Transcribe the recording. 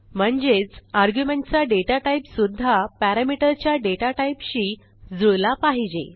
म्हणजेच आर्ग्युमेंट चा data type सुध्दा पॅरामीटर च्या डेटा टाईपशी जुळला पाहिजे